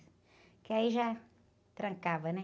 Porque aí já trancava, né?